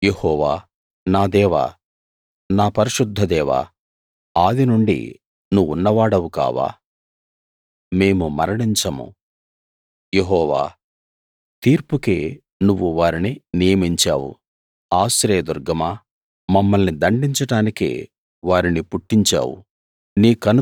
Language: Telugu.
యెహోవా నా దేవా నా పరిశుద్ధ దేవా ఆదినుండి నువ్వున్న వాడవు కావా మేము మరణించము యెహోవా తీర్పుకే నువ్వు వారిని నియమించావు ఆశ్రయ దుర్గమా మమ్మల్ని దండించడానికే వారిని పుట్టించావు